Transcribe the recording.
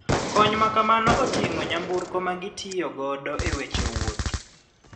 Kony makamano otingo nyamburko ma gitiyo godo e weche wuoth.